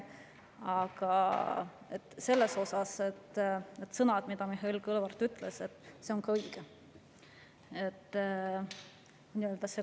Aga need sõnad, mida Mihhail Kõlvart ütles, on ka õiged.